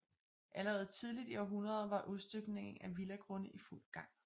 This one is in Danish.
Allerede tidligt i århundredet var udstykningen af villagrunde i fuld gang